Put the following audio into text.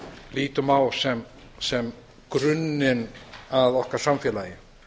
lítum á sem grunninn að okkar samfélagi